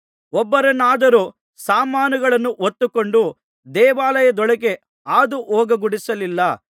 ಒಬ್ಬನನ್ನಾದರೂ ಸಾಮಾನುಗಳನ್ನು ಹೊತ್ತುಕೊಂಡು ದೇವಾಲಯದೊಳಕ್ಕೆ ಹಾದು ಹೋಗಗೊಡಿಸಲಿಲ್ಲ